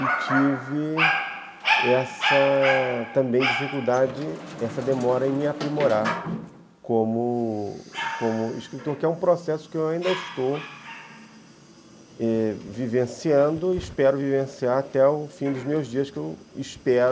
E tive essa... também dificuldade, essa demora em me aprimorar como escritor, que é um processo que eu ainda estou eh vivenciando e espero vivenciar até o fim dos meus dias, que eu espero